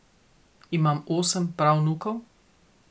Imam osem pravnukov.